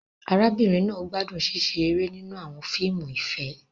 Arábìnrin náà gbádùn ṣíṣe eré nínú àwọn fíìmù ìfẹ́.